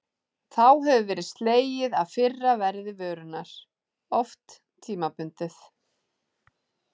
Þá hefur verið slegið af fyrra verði vörunnar, oft tímabundið.